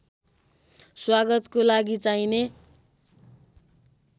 स्वागतको लागि चाहिने